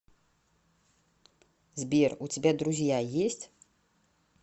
сбер у тебя друзья есть